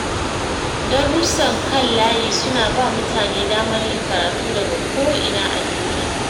Darussan kan layi suna ba mutane damar yin karatu daga ko’ina a duniya.